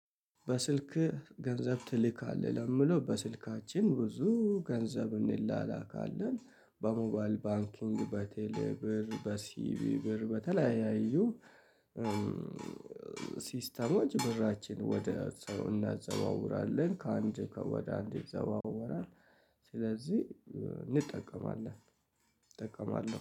በስልክ ገንዘብ ትልካለህ ለምሌው በስልካችን ብዙ ገንዘብ እንላላካለን በሞባል ባንኪንግ በቴሌብር በሲቪብር በተለያዩ ሲስተሞች ብራችን ወደ ሰው እናዘዋውራለን ከአንድ ወደ አንድ ይዘዋወራል። ስለዚህ እንጠቀማለን። እጠቀማለሁ